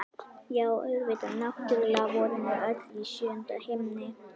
Já, auðvitað, náttúrlega vorum við öll í sjöunda himni!